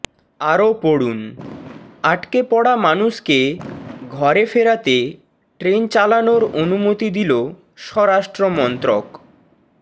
আরও পড়ুন আটকে পড়া মানুষকে ঘরে ফেরাতে ট্রেন চালানোর অনুমতি দিল স্বরাষ্ট্রমন্ত্রক